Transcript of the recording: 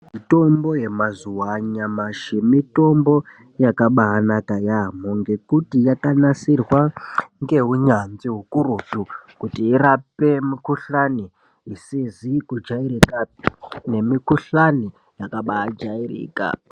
Mutombo yemazuwa anyamashi mutombo yakabaaanaka yaamho ngekuti yakanasirwa ngeunyanzvi ukurutu kuti irape mikhuhlani isizi kujairika pe nemukhuhlani yakabaa jairika.